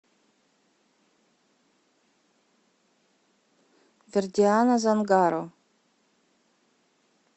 вердиана зангаро